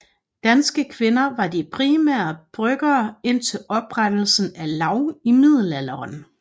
Danske kvinder var de primære bryggere indtil oprettelsen af laug i middelalderen